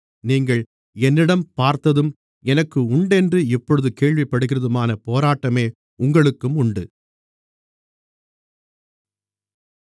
நீங்கள் என்னிடம் பார்த்ததும் எனக்கு உண்டென்று இப்பொழுது கேள்விப்படுகிறதுமான போராட்டமே உங்களுக்கும் உண்டு